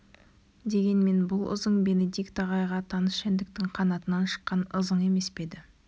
дегенмен бұл ызың бенедикт ағайға таныс жәндіктің қанатынан шыққан ызың емес еді